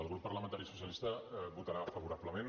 el grup parlamentari socialista hi votarà favorablement